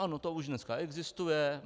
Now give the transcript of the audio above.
Ano, to už dneska existuje.